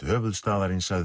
höfuðstaðarins að